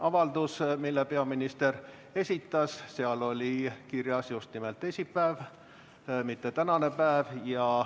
Avalduses, mille peaminister esitas, oli kirjas just nimelt teisipäev, mitte tänane päev.